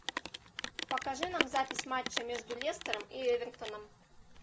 покажи нам запись матча между лестером и эвертоном